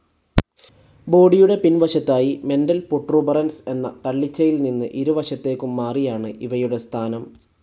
ബോഡിയുടെ പിൻ വശത്തായി മെൻ്റൽ പൊട്രൂബറൻസ് എന്ന തള്ളിച്ചയിൽ നിന്ന് ഇരുവശത്തേക്കും മാറിയാണ് ഇവയുടെ സ്ഥാനം.